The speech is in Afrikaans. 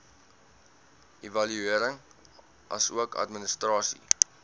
evaluering asook administrasie